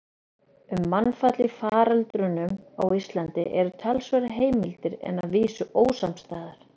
Um mannfall í faröldrunum á Íslandi eru talsverðar heimildir en að vísu ósamstæðar.